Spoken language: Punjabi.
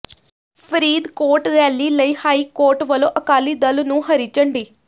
ਫ਼ਰੀਦਕੋਟ ਰੈਲੀ ਲਈ ਹਾਈਕੋਰਟ ਵੱਲੋਂ ਅਕਾਲੀ ਦਲ ਨੂੰ ਹਰੀ ਝੰਡੀ